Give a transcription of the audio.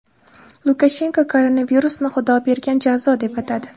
Lukashenko koronavirusni Xudo bergan jazo deb atadi.